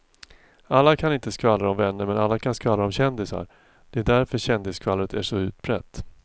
Alla kan inte skvallra om vänner men alla kan skvallra om kändisar, det är därför kändisskvallret är så utbrett.